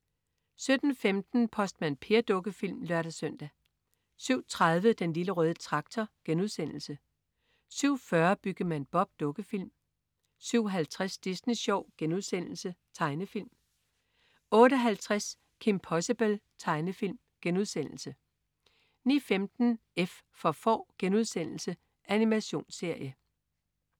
07.15 Postmand Per. Dukkefilm (lør-søn) 07.30 Den Lille Røde Traktor* 07.40 Byggemand Bob. Dukkefilm 07.50 Disney Sjov.* Tegnefilm 08.50 Kim Possible.* Tegnefilm 09.15 F for Får.* Animationsserie